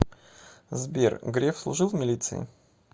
сбер греф служил в милиции